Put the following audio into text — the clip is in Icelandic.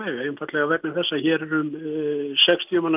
veg hér er um sextíu manns